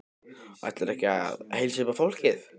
Ætlarðu ekki að heilsa upp á fólkið?